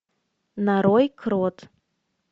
нарой крот